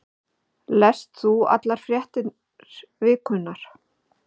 Lest þú allar fréttir vikunnar?